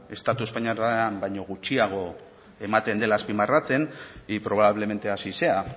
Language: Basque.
estatu espainiarrean baino gutxiago ematen dela azpimarratzen y probablemente así sea